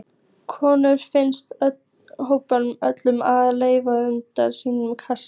Konur fyrst hrópaði Örn og reif utan af sínum kassa.